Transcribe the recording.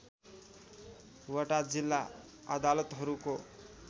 वटा जिल्ला अदालतहरूको